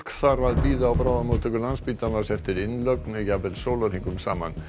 þarf að bíða á bráðamóttöku Landspítalans eftir innlögn jafnvel sólarhringum saman